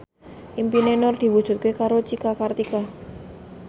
impine Nur diwujudke karo Cika Kartika